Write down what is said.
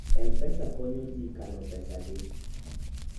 mpesa konyo ji kano pesa gi